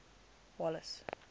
wallace